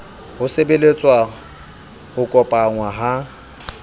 ho sebeletsa ho kopanngwa ha